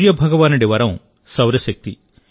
సూర్య భగవానుడి వరం సౌరశక్తి